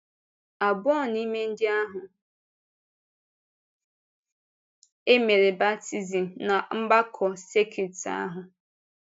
Abụọ n’ime ndị ahụ e mere baptizim ná mgbakọ sekit ahụ.